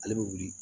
Ale bɛ wuli